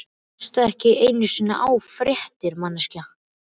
Hlustarðu ekki einu sinni á fréttir, manneskja?